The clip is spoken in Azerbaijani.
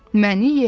Məni ye!